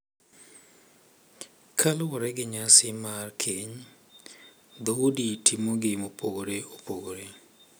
Kaluwore gi nyasi mar keny, dhoudi timogi mopogore opogore